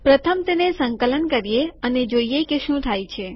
પ્રથમ તેને સંકલન કરીએ અને જોઈએ કે શું થાય છે